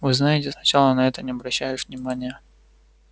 вы знаете сначала на это не обращаешь внимания